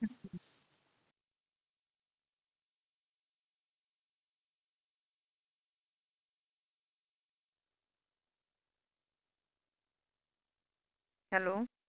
hello